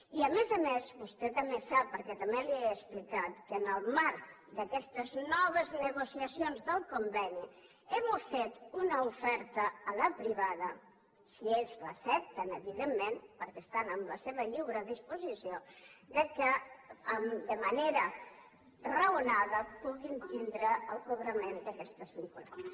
i a més a més vostè també sap perquè també li ho he explicat que en el marc d’aquestes noves negociacions del conveni hem fet una oferta a la privada si ells l’accepten evidentment perquè estan en la seva lliure disposició que de manera raonada puguin tindre el cobrament d’aquestes vinculades